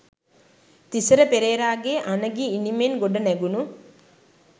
තිසර පෙරේරාගේ අනගි ඉනිමෙන් ගොඩනැගුණු